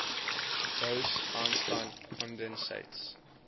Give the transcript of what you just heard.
bose einstein condensates